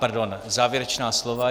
Pardon, závěrečná slova.